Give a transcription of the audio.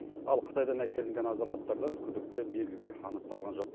ал қытайдан әкелінген азаматтардан күдікті белгілер анықталған жоқ